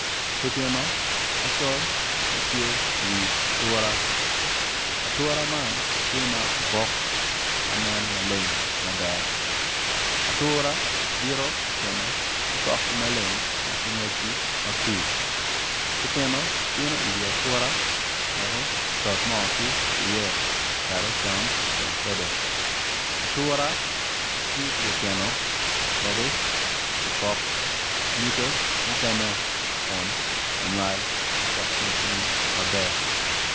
Pipino macol ma tye ocung i wi ature ma nen maleng mada, ature bito pipino ki pokgi maleng ki ngwecgi makur pipino bino i wi ature wek oto moo kic ki iye wek ocam odong kwede ature tiyo ki pipino wek opok nyige mukene kun onywal oket kin piny maber.